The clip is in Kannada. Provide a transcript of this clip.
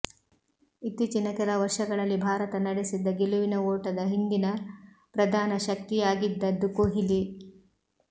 ಇತ್ತೀಚಿನ ಕೆಲ ವರ್ಷಗಳಲ್ಲಿ ಭಾರತ ನಡೆಸಿದ್ದ ಗೆಲುವಿನ ಓಟದ ಹಿಂದಿನ ಪ್ರಧಾನ ಶಕ್ತಿಯಾಗಿದ್ದದ್ದು ಕೊಹ್ಲಿ